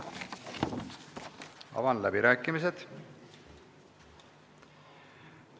Avan läbirääkimised.